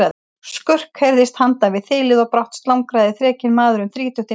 Skurk heyrðist handan við þilið og brátt slangraði þrekinn maður um þrítugt inn í eldhúsið.